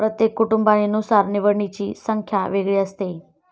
प्रत्येक कुटुंबाने नुसार निवडीची संख्या वेगळी असते